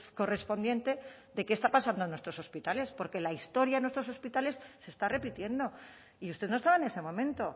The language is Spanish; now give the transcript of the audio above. correspondiente de qué está pasando en nuestros hospitales porque la historia de nuestros hospitales se está repitiendo y usted no estaba en ese momento